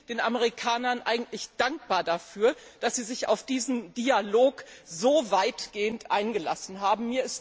Ich bin den Amerikanern eigentlich dankbar dafür, dass sie sich auf diesen Dialog so weitgehend eingelassen haben.